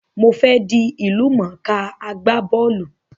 Mo fe dí ìlúmọ̀ká agbá bọ́lù